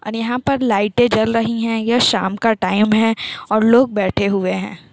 और यहाँ पर लाइटें जल रही हैं यह शाम का टाइम है और लोग बैठे हुए हैं।